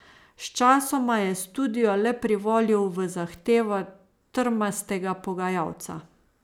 Sčasoma je studio le privolil v zahtevo trmastega pogajalca.